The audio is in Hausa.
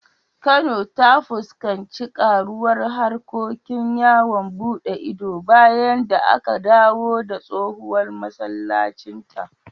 Kano ta fuskanci karuwar harkokin yawon buɗe ido bayan da aka dawo da tsohon masallacinta.